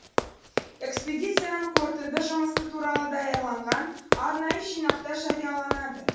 экспедицияның қорытынды жұмысы туралы даярланған арнайы жинақта жарияланады